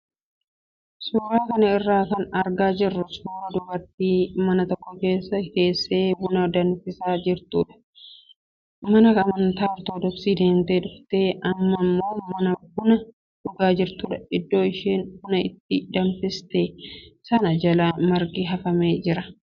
Suuraa kana irraa kan argaa jirru suuraa dubartii mana tokko keessa teessee buna danfisaa jirtu kan mana amantaa ortodoksii deemtee dhuftee amma immoo buna dhugaa jirtudha. Iddoo isheen buna itti danfiste sana jala margi hafamee jira.